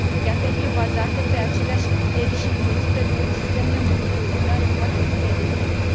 Ea trebuie bazată pe aceleași criterii și însoțită de un sistem de monitorizare foarte bine definit.